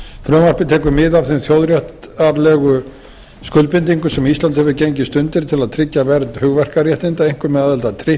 frumvarpið tekur mið af þeim þjóðréttarlegu skuldbindingum sem ísland hefur gengist undir til að tryggja verð hugverkaréttinda einkum með aðild að